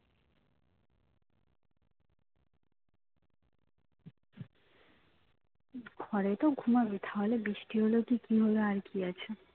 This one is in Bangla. ঘরেই তো ঘুমাবি তাহলে বৃষ্টি হোল কি হোল আর কি আছে